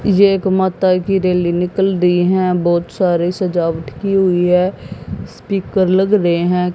ये एक माता की रैली निकल रही हैं बहोत सारी सजावट की हुई है स्पीकर लग रहे हैं।